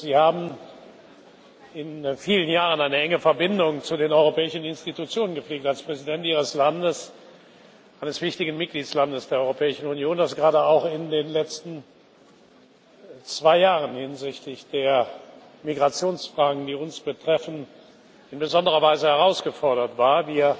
Sie haben in vielen Jahren eine enge Verbindung zu den europäischen Institutionen gepflegt, als Präsident Ihres Landes, eines wichtigen Mitgliedstaats der Europäischen Union, dere gerade auch in den letzten zwei Jahren hinsichtlich der Migrationsfragen, die uns betreffen, in besonderer Weise herausgefordert war.